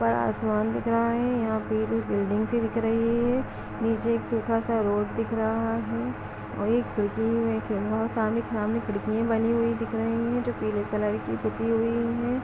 बड़ा आसमान दिख रहा है। यहाँ पे एक बिल्डिंग सी दिख रही है। नीचे एक सूखा सा रोड दिख रहा है। वहीं खिड़की खिड़किये बनी हुई दिख रही हैं जो पीले कलर की पुती हुई हैं।